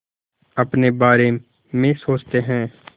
अपने बारे में सोचते हैं